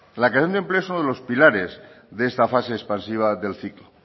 la creación de empleo es uno de los pilares de esta fase expansiva del